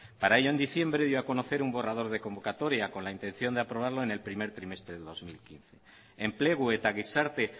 para ello en diciembre dio a conocer un borrador de convocatoria con la intención de aprobarlo en el primer trimestre de dos mil quince enplegu eta gizarte